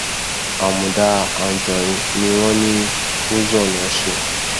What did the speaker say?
àmùdá àǹjọrin ni wọn ní uzon ló ń ṣe